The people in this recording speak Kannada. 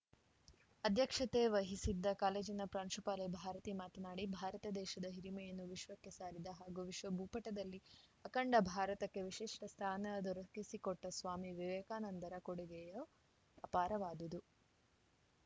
ಅಧ್ಯಕ್ಷತೆ ವಹಿಸಿದ್ದ ಕಾಲೇಜಿನ ಪ್ರಾಂಶುಪಾಲೆ ಭಾರತಿ ಮಾತನಾಡಿ ಭಾರತ ದೇಶದ ಹಿರಿಮೆಯನ್ನು ವಿಶ್ವಕ್ಕೆ ಸಾರಿದ ಹಾಗೂ ವಿಶ್ವಭೂಪಟದಲ್ಲಿ ಅಖಂಡ ಭಾರತಕ್ಕೆ ವಿಶಿಷ್ಟಸ್ಥಾನ ದೊರಕಿಸಿಕೊಟ್ಟಸ್ವಾಮಿ ವಿವೇಕಾನಂದರ ಕೊಡುಗೆಯು ಅಪಾರವಾದುದು